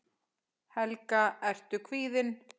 Helga: Ertu kvíðinn?